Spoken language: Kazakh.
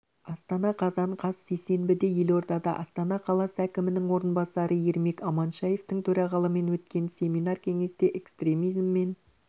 астана қазан қаз сейсенбіде елордада астана қаласы әкімінің орынбасары ермек аманшаевтың төрағалымен өткен семинар-кеңесте экстремизим мен